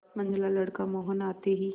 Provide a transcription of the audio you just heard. मंझला लड़का मोहन आते ही